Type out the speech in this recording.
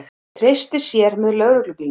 Treysti sér með lögreglubílnum